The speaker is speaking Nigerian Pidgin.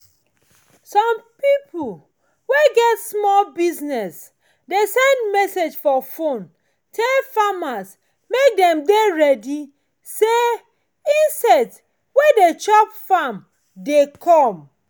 some pipo wey get small business dey send message for phone tell farmers mek dem dey ready say insect wey de chop farm dey come